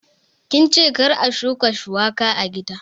Kince kar a shuka shuwaka a gida?